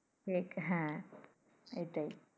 হ্যাঁ ওইটাই।